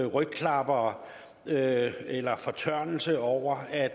rygklappere eller eller fortørnelse over at